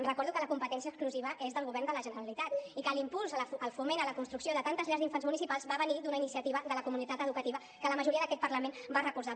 recordo que la competència exclusiva és del govern de la generalitat i que l’impuls al foment a la construcció de tantes llars d’infants municipals va venir d’una iniciativa de la comunitat educativa que la majoria d’aquest parlament va recolzar